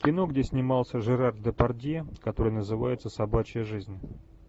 кино где снимался жерар депардье которое называется собачья жизнь